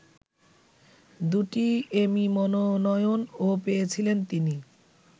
দুটি এমি মনোনয়নও পেয়েছিলেন তিনি